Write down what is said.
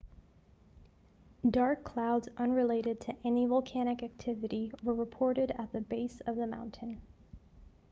dark clouds unrelated to any volcanic activity were reported at the base of the mountain